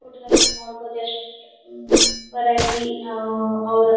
ಹುಟ್ಟದಾಗಿ ನೀವ್ ನೋಡ್ ಬಹುದು ಎಷ್ಟ ಉಹ್ ಸೂಪರ್ ಆಗಿ ಅಹ್ ಅವ್ರ್.